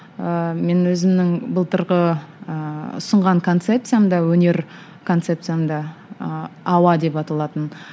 ыыы мен өзімнің былтырғы ыыы ұсынған концепциямда өнер концепциямда ыыы ауа деп аталатын